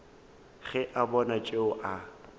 ge a bona tšeo a